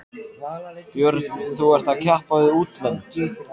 Björn: Þú ert að keppa við útlönd?